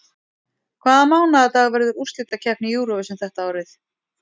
Hvaða mánaðardag verður úrslitakeppni Eurovision þetta árið?